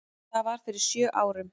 Það var fyrir sjö árum.